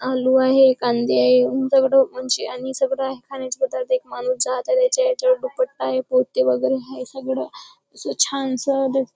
आलू आहे कांदे आहे उंच उंची आणि सगळं खाण्याचे पदार्थ एक माणूस जहाजाच्या आहे पोते वगैरे आहे. सगळं असं छानसं--